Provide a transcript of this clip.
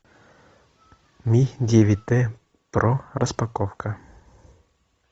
ми девять т про распаковка